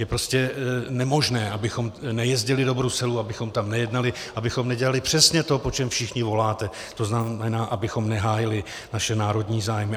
Je prostě nemožné, abychom nejezdili do Bruselu, abychom tam nejednali, abychom nedělali přesně to, po čem všichni voláte, to znamená, abychom nehájili naše národní zájmy.